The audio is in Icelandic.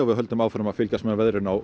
við höldum áfram að fylgjast með veðrinu á